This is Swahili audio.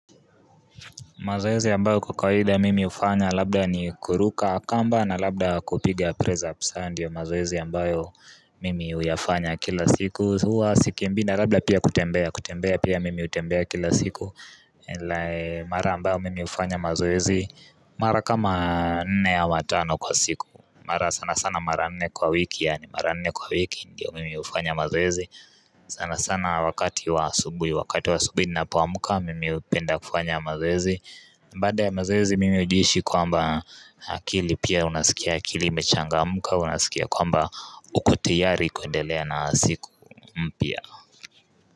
Mazoezi yambayo kwkawida mimi hufanya labda ni kuruka kamba na labda kupiga press ups haya ndiyo mazoezi ylambayo mimi uyafanya kila siku huwa sikimbi na labda pia kutembea kutembea pia mimi utembea kila siku Mara mbayo mimi ufanya mazoezi mara kama nne ama tano kwa siku Mara sana sana maravnne kwa wiki yani marane kwa wiki ndiyo mimi ufanya mazwezi sana sana wakati wa asubui wakati wa asubui ninapo amka mimi hupenda kufanya mazoezi baada ya mazoezi mimi ujiishi kwamba akili pia unasikia, akili imechangamka unasikia kwamba uko tayari kuendelea na siku mpia.